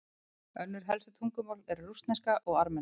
önnur helstu tungumál eru rússneska og armenska